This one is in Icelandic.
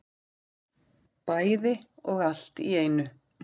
Bæði og allt í einu